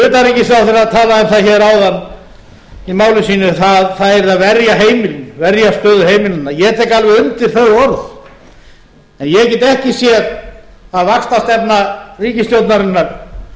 það hér áðan í máli sínu að það yrði að verja heimilin verja stöðu heimilanna ég tek alveg undir þau orð en ég get ekki séð að vaxtastefna ríkisstjórnarinnar